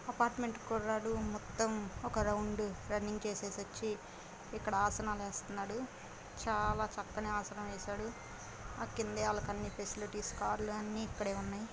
Apartment కుర్రోళ్లు మొత్తం ఒక రౌండ్ రన్నింగ్ చేసి వచ్చి ఇక్కడ ఆసనాలు వేసున్నాడు చాలా చక్కని ఆసనాలు వేసుడు ఆ క్రింద పిసిలిటీస్ కార్లు అని కింద ఉన్నాయి .